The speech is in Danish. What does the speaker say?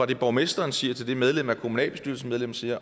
det borgmesteren siger og af det medlemmet af kommunalbestyrelsen siger